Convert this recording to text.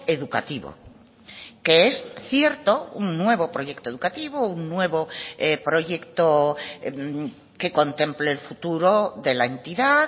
educativo que es cierto un nuevo proyecto educativo un nuevo proyecto que contemple el futuro de la entidad